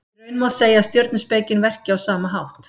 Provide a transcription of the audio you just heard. Í raun má segja að stjörnuspekin verki á sama hátt.